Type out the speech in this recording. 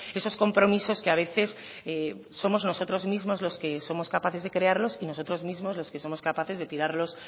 esos compromisos que a veces somos nosotros mismos los que somos capaces de crearlos y nosotros mismos los que somos capaces de tirarlos